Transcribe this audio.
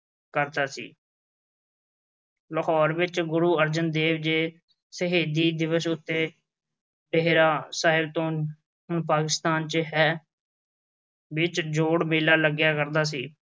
ਕਰਦਾ ਸੀ। ਲਾਹੌਰ ਵਿੱਚ ਗੁਰੂ ਅਰਜਨ ਦੇਵ ਜੀ ਦੇ ਸ਼ਹੀਦੀ ਦਿਵਸ ਉੱਤੇ ਸਾਹਿਬ, ਜੋ ਹੁਣ ਪਾਕਿਸਤਾਨ ਵਿੱਚ ਹੈ, ਵਿੱਚ ਜੋੜ ਮੇਲਾ ਲੱਗਿਆ ਕਰਦਾ ਸੀ।